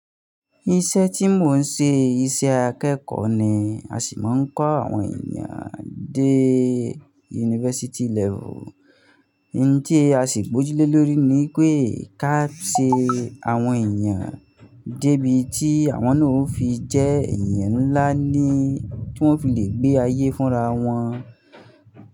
Iṣẹ́ tí mò ń ṣe, iṣẹ́ akẹ́kọ̀ọ́ ni. A sì máa ń kọ́ àwọn ènìyàn dé university level. Òun tí a sì gbójúlé lórí ni pé ká ṣe àwọn ènìyàn dé ibi tí àwọn náà ó fi jẹ́ ènìyàn ńlá ni, tí wọ́n fi lè gbé ayé fún ra wọn.